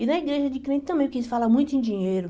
E na igreja de crente também, porque eles falam muito em dinheiro.